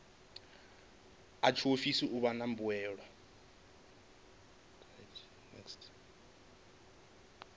a tshiofisi u wana mbuelo